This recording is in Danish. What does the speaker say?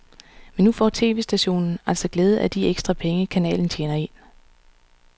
Men nu får tv-stationen altså glæde af de ekstra penge, kanalen tjener ind.